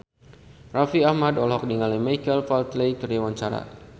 Raffi Ahmad olohok ningali Michael Flatley keur diwawancara